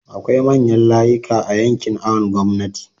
akwai manyan layika a yankin awon gomnati